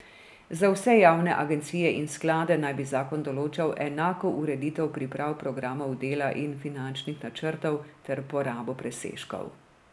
Za vse javne agencije in sklade naj bi zakon določal enako ureditev priprav programov dela in finančnih načrtov ter porabo presežkov.